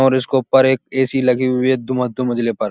और इसके ऊपर एक ए.सी लगी हुई है। दू दो मंजिले पर।